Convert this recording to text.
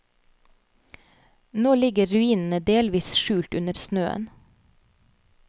Nå ligger ruinene delvis skjult under snøen.